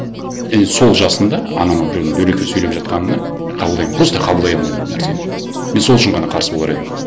енді сол жасында анама біреудің дөрекі сөйлеп жатқанына мен просто қабылдай алмаймын ол нәрсені мен сол үшін ғана қарсы болар едім